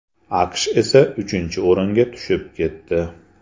AQSh esa uchinchi o‘ringa tushib ketdi.